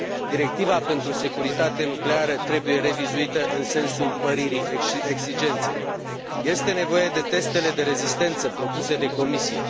Directiva pentru securitate nucleară trebuie revizuită în sensul măririi exigenței. Este nevoie de testele de rezistență propuse de Comisie.